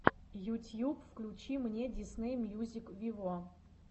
ютьюб включи мне дисней мьюзик виво